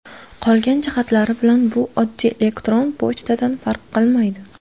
Qolgan jihatlari bilan bu oddiy elektron pochtadan farq qilmaydi.